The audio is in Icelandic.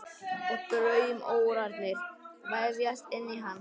Og draumórarnir vefjast inn í hann.